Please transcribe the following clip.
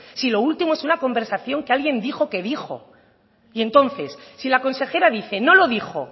si lo último es una conversación que alguien dijo que dijo y entonces si la consejera dice no lo dijo